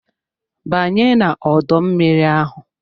Banye n'ọdọ mmiri ahụ!